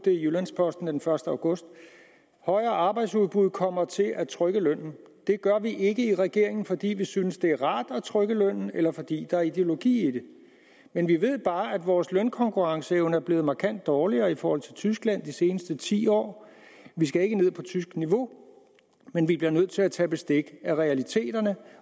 jyllands posten den første august højere arbejdsudbud kommer til at trykke lønnen det gør vi ikke i regeringen fordi vi synes det er rart at trykke lønnen eller fordi der er ideologi i det men vi ved bare at vores lønkonkurrenceevne er blevet markant dårligere i forhold til tyskland de seneste ti år vi skal ikke ned på tysk niveau men vi bliver nødt til at tage bestik af realiteterne